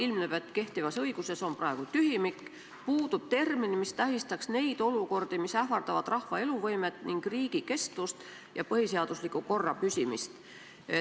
Ilmneb, et kehtivas õiguses on praegu tühimik: puudub termin, mis tähistaks neid olukordi, kus on ohus rahva eluvõime ning riigi kestvus ning põhiseadusliku korra püsimine.